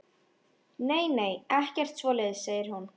Nei, nei, ekkert svoleiðis, segir hún.